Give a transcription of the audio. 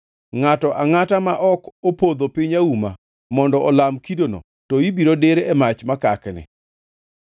Ngʼato angʼata ma ok opodho piny auma mondo olam kidono to ibiro dir e mach makakni.”